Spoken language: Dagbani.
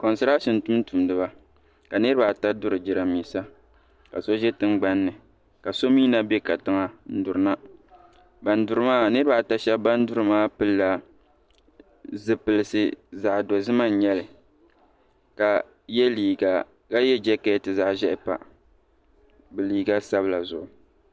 Kontarata tumtumdiba ka niriba ata duri jirambisa ka so ʒɛ tingbanni ka so mee na be katiŋa n duri na niriba ata sheba ban duri maa pilila zipilsi zaɣa dozima n nyɛli ka ye jakati zaɣa ʒehi pa bɛ liiga sabila zuɣu.